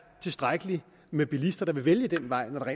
tilstrækkeligt med bilister der vil vælge den vej når der